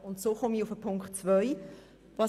Damit komme ich zu Ziffer 2.